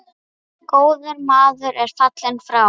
Góður maður er fallinn frá.